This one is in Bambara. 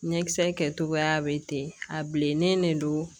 Ɲɛkisɛ kɛtogoya be ten a bilennen de don